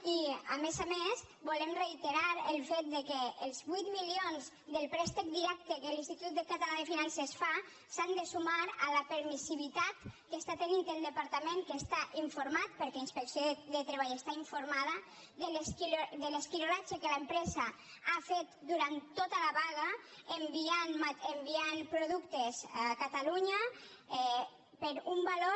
i a més a més volem reiterar el fet que els vuit milions del préstec directe que l’institut català de finances fa s’han de sumar a la permissivitat que té el departament que està informat perquè inspecció de treball està informada de l’esquirolatge que l’empresa ha fet durant tota la vaga enviant productes a catalunya per un valor